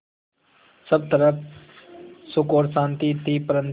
सब तरफ़ सुख और शांति थी परन्तु